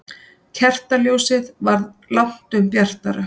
Kertaljósið var langtum bjartara.